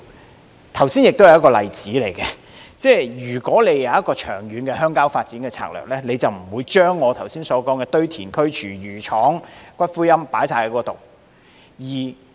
我剛才提到的是一個例子，如果政府有長遠鄉郊發展策略，便不會把我剛才提到的堆填區、廚餘廠、骨灰龕等全部選址在新界區。